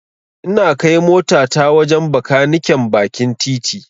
Ina kai motata wajen Bakaniken bakin titi.